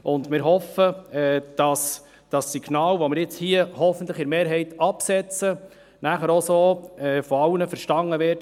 Wir hoffen, dass das Signal, dass wir hier hoffentlich mit einer Mehrheit aussenden, auch von allen so verstanden wird.